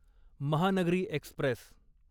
Mahanagari Express